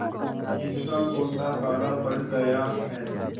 जिसका गोटा काला पड़ गया है